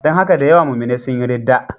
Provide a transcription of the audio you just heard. Don haka da yawa muminai sun yi ridda.